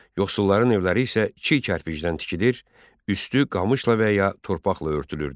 Yoxsulların evləri isə çi kərpicdən tikilir, üstü qamışla və ya torpaqla örtülürdü.